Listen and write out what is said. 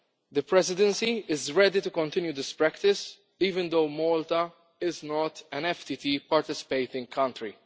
The Presidency is ready to continue this practice even though Malta is not an FTT participating country.